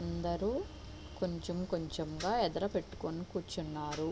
అందరూ కొంచెం కొంచెంగా ఎదుర పెట్టుకుని కూర్చున్నారు.